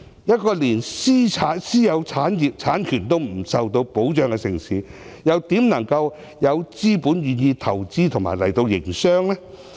一個連私有產業和產權也未能受到保障的城市，又怎可能有資本願意到來投資和營商？